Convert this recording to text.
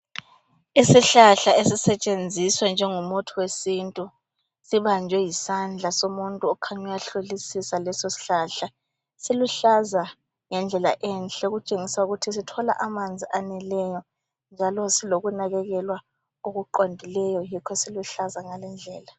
Isihlahla esisetshenziswa njengomuthi wesintu, sibanjwe yisandla somuntu okhanya uyahlolisisa leso sihlahla. Siluhlaza ngendlela enhle okutshengisa ukuthi sithola amanzi aneleyo njalo silokunakekelwa okuqondileyo yikho siluhlaza ngalindlela.